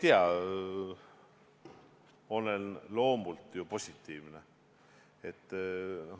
Ma olen loomult positiivne.